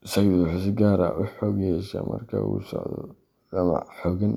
Masaydu wuxuu si gaar ah u xoog yeeshaa marka uu la socdo damac xooggan.